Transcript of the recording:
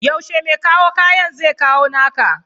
yaushe me kawo kayan zekawo naka?